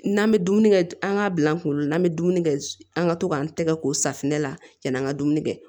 N'an bɛ dumuni kɛ an k'a bila an kunkolo la an bɛ dumuni kɛ an ka to k'an tɛgɛ ko safunɛ la yanni an ka dumuni kɛ